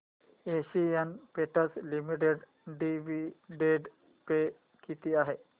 Asian Paints limited dividend pay किती आहे